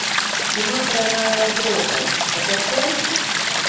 кино тройная угроза закачай